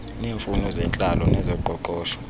neemfuno zentlalo nezoqoqosho